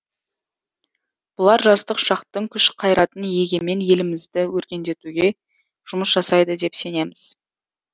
бұлар жастық шақтың күш қайратын егемен елімізді өркендетуге жұмыс жасайды деп сенеміз